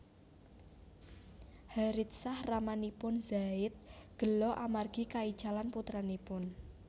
Haritsah ramanipun Zaid gela amargi kaicalan putranipun